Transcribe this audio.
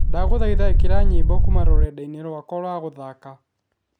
ndaguthaitha ikira nyimbo kuuma rũrendainĩ rwakwa rwa guthaaka